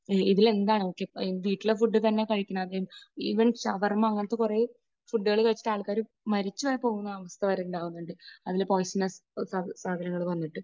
ഇതിൽ എന്നാണ്, ഓക്കെ വീട്ടിലെ ഫുഡ് തന്നെ കഴിക്കണം, ഇവൻ ഷവർമ അങ്ങനത്തെ കുറേ ഫുഡ് കഴിച്ചിട്ട് ആൾക്കാർ മരിച്ചു വരെ പോകുന്ന അവസ്ഥ വരെ ഉണ്ടാകുന്നുണ്ട്. അതിലെ പോയിസണസ്‌ സാധനങ്ങൾ വന്നിട്ട്.